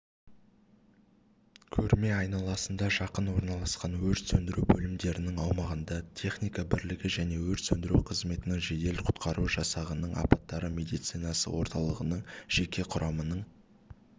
көрме айналасында жақын орналасқан өрт сөндіру бөлімдерінің аумағында техника бірлігі және өрт сөндіру қызметінің жедел-құтқару жасағының апаттар медицинасы орталығының жеке құрамының